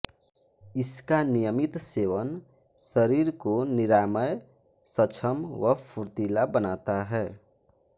इसका नियमित सेवन शरीर को निरामय सक्षम व फुर्तीला बनाता है